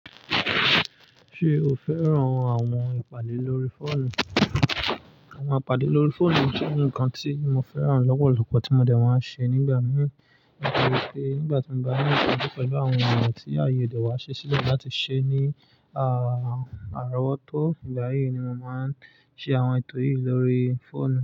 Ṣé o fẹ́ràn àwọn ìpàdé lórí fóònù? Àwọn ìpàdé lórí fóònù jẹ́ nǹkan tí mo fẹ́ràn lọ́pọ̀lọ́pọ̀ tí mo dẹ̀ wá ń ṣe nígbà mìíràn torí pé nígbà tí mo bá ní ìṣiju pẹlu àwọn ènìyàn tí ààyè odẹ ọ̀wa ṣi sílẹ̀ láti ṣe ní àárọ̀ wọ́tọ́, ìgbà yí ni mo máa ń ṣe àwọn ètò yìí lórí fóònù.